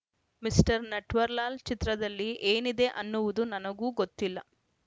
mister Natwarlal ಚಿತ್ರದಲ್ಲಿ ಏನಿದೆ ಅನ್ನುವುದು ನನಗೂ ಗೊತ್ತಿಲ್ಲ